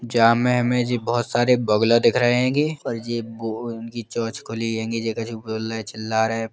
जामे में हमे जी बोहोत सारे बगुला दिख रहे हैंगे और जे बो उनकी चोंच खुली हैंगी जे कछु बोल लए चिल्ला रहे।